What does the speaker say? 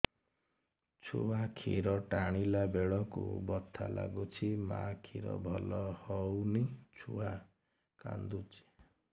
ଛୁଆ ଖିର ଟାଣିଲା ବେଳକୁ ବଥା ଲାଗୁଚି ମା ଖିର ଭଲ ହଉନି ଛୁଆ କାନ୍ଦୁଚି